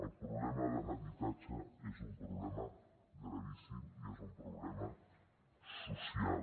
el problema de l’habitatge és un problema gravíssim i és un problema social